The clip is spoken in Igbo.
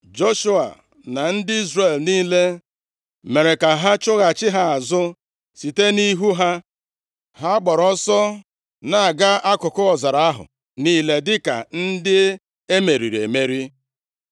Joshua na ndị Izrel niile mere ka ha chụghachi ha azụ site nʼihu ha, ha gbara ọsọ na-aga akụkụ ọzara ahụ niile dịka ndị e meriri emeri.